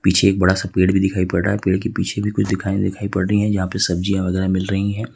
पीछे एक बड़ा सा पेड़ भी दिखाई पड़ रहा है पेड़ के पीछे भी कुछ दिखाई दे रहा है जहां पे सब्जियां वगैरा मिल रही हैं।